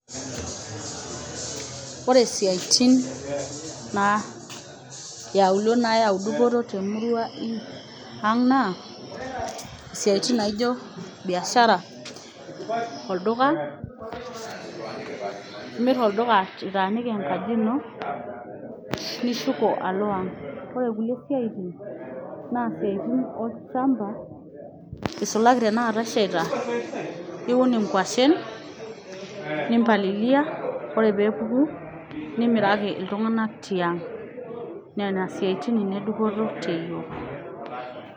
Oore isiaitin iauluo nayau dupoto temurua ang' naa, isiaitin naijo biashara, olduka, imir olduka itaaniki enkaji iino nishuko aalo ang'. Oore inkulie siaitin naa isiaitin olchamba eisulaki tena kaata eshaita, iun inkuashen, nimpalilia oore peyie epuku nimiraki iltung'anak tiang'.